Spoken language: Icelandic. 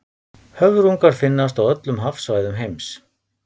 höfrungar finnast á öllum hafsvæðum heims